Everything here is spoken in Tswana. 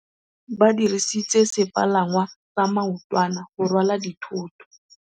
Ba dirisitse sepalangwasa maotwana go rwala dithôtô.